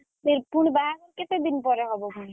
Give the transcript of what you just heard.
ପୁଣି ବାହାଘର କେତେ ଦିନି ପରେ ହବ ପୁଣି?